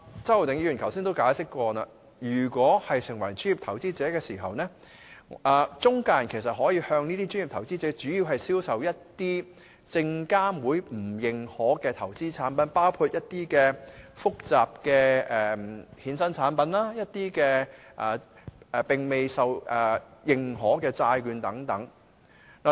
周浩鼎議員剛才也解釋過，當某人成為專業投資者，中介人便可以向他主要銷售一些證券及期貨事務監察委員會不用認可的投資產品，包括一些複雜的衍生產品，一些並未獲認可的債券等。